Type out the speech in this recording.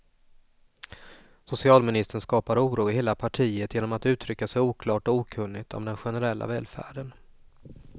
Socialministern skapar oro i hela partiet genom att uttrycka sig oklart och okunnigt om den generella välfärden.